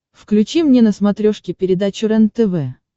включи мне на смотрешке передачу рентв